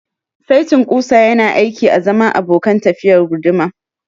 Saitin ƙusa yana aiki azaman abokan tafiyar guduma.